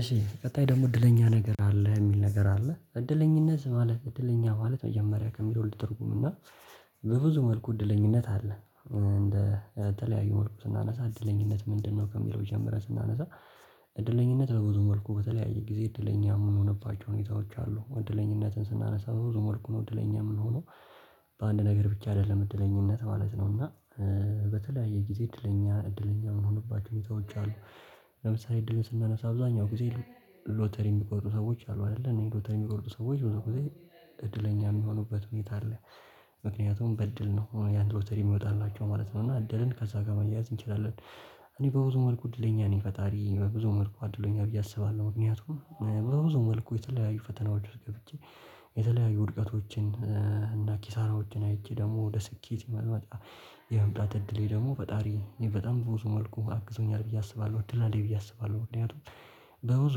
እሺ ቀጣይ ደግሞ እድለኛ ነገር አለ የሚል ነገር አለ እድለኝነት ማለት እድለኛ ማለት መጀመሪያ ከሚለው ልተርጉም እና በብዙ መልኩ እድለኝነት አለ። እንደ ተለያዩ መልኩ ስናነሳ እድለኝነት ምንድነው ከሚለው ጀምረን ስናነሳ? እድለኝነት በብዙ መልኩ በተለያየ ጊዜ እድለኛ የምንሆንባቸው ሁኔታዎች አሉ እድለኝነትን ስናነሳ በብዙ መልኩ ነው እድለኛ የምንሆነው። በተለያየ ጊዜ እድለኛ እድለኛ የሆኑባቸው ሁኔታዎች አሉ። ለምሳሌ እድል ስናነሳ አብዛኛው ጊዜ ሎተሪ የሚቆርጡ ሰዎች አሉ አይደለ እነዚህ ሎተሪ የሚቆርጡ ሰዎች በዛ ጊዜ እድለኛ የሚሆኑበት ሁኔታ አለ። ምክንያቱም በድል ነው ያን ሎተሪ የሚወጣላቸው ማለት ነው እና እድልን ከዛ ጋር መያዝ እንችላለን። እኔ በብዙ መልኩ እድለኛ ነኝ ፈጣሪ በብዙ መልኩ አድሎኛል ብዬ አስባለሁ። ምክንያቱም በብዙ መልኩ የተለያዩ ፈተናዎች ውስጥ ገብቼ የተለያዩ ውድቀቶችን እና ኪሳራዎችን አይቼ ደግሞ ወደ ስኬት የመምጣት እድሌ ደግሞ ፈጣሪ በጣም ብዙ መልኩ አግዞኛል ብዬ አስባለሁ። እድል አለኝ ብዬ አስባለሁ። ምክንያቱም በብዙ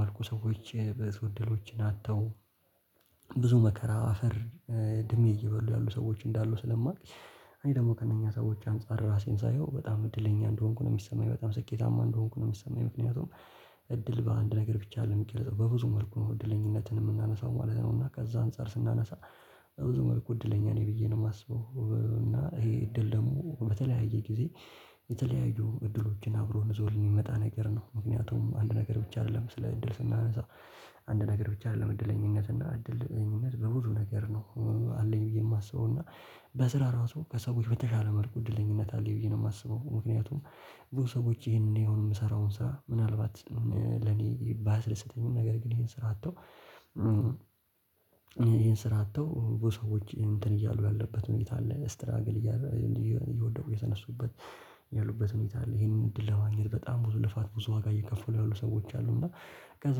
መልኩ ሰዎች ብዙ እድሎችን አጥተው ብዙ መከራ አፈር ድሜ እየበሉ ያሉ ሰዎች እንዳሉ ስለማውቅ። እኔ ደግሞ ከእነኛ ሰዎች አንፃር ራሴን ሳየው በጣም እድለኛ እንደሆንኩ ነው የሚሰማኝ በጣም ስኬታማ እንደሆንኩ ነው የሚሰማኝ። ምክንያቱም እድል በአንድ ነገር ብቻ አደለም የሚገልጸው በብዙ መልኩ ነው እድለኝነትን የምናነሳው ማለት ነው። እና ከዛ አንፃር ስናነሳ በብዙ መልኩ እድለኛ ነኝ ብዬ ነው የማስበው። እና ይሄ እድል ደግሞ በተለያየ ጊዜ የተለያዩ እድሎችን አብሮ ይዞልን የሚመጣ ነገር ነው። ምክንያቱም አንድ ነገር ብቻ አይደለም ስለ እድል ስናነሳ አንድ ነገር ብቻ አይደለም እድለኝነት እና እድለኝነት በብዙ ነገር ነው አለኝ ብዬ የማስበው። እና በስራ ራሱ ከሰዎች በተሻለ መልኩ እድለኝነት አለኝ ብዬ ነው የማስበው። ምክንያቱም ብዙ ሰዎች ይሄንን እኔ አሁን የምሰራውን ስራ ምናልባት ለኔ ባያስደሰተኝም ነገር ግን ይሄን ስራ አጥተው ስራ አጥተው ብዙ ሰወች እንትን እያሉ ያለበት ሁኔታ አለ። ስትራግል እየወደቁ የተነሱበት ያሉበት ሁኔታ አለ ይሄንን እድል ለማግኘት በጣም ብዙ ልፋት ብዙ ዋጋ እየከፈሉ ያሉ ሰዎች አሉ። እና ከዛ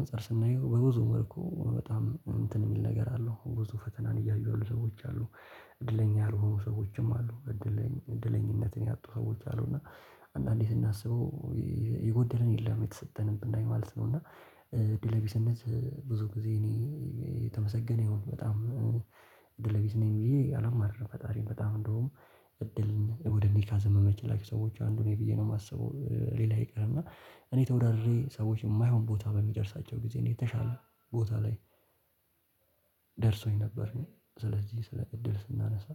አንፃር ስናየው በብዙ መልኩ በጣም እንትን የሚል ነገር አለው ብዙ ፈተናን እያዩ ያሉ ሰዎች አሉ። እድለኛ ያልሆኑ ሰዎችም አሉ። እድለኛነትን ያጡ ሰዎች አሉና አንዳንዴ እናስበው የጎደለን የለም የተሰጠንን ብናይ ማለት ነው። እና እድለ ቢስነት ብዙ ጊዜ እኔ የተመሰገነ ይሁን በጣም እድለ ቢስ ነኝ ብዬ አላማርርም። ፈጣሪ በጣም እንደውም እድልን ወደ እኔ ካዘመመችላቸው ሰዎች አንዱን ብዬ ነው የማስበው። ሌላ ይቀርና እኔ ተወዳድሬ ሰዎች የማይሆን ቦታ በሚደርሳቸው ጊዜ እኔ የተሻለ ቦታ ላይ ደርሶኝ ነበር። ስለዚህ ስለ እድል ስናነሳ